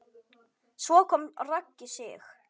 Svo kom Raggi Sig.